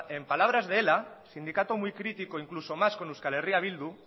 en palabras de ela sindicato muy crítico incluso más con euskal herria bildu